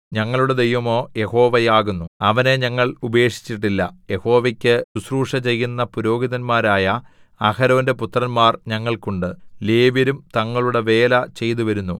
ഞങ്ങളുടെ ദൈവമോ യഹോവയാകുന്നു അവനെ ഞങ്ങൾ ഉപേക്ഷിച്ചിട്ടില്ല യഹോവയ്ക്ക് ശുശ്രൂഷചെയ്യുന്ന പുരോഹിതന്മാരായ അഹരോന്റെ പുത്രന്മാർ ഞങ്ങൾക്കുണ്ട് ലേവ്യരും തങ്ങളുടെ വേല ചെയ്തുവരുന്നു